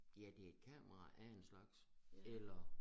Ja det et kamera af en slags eller